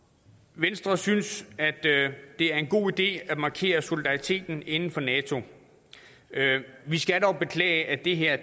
venstre synes at det er en god idé at markere solidariteten inden for nato vi skal dog beklage at det her